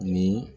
Ni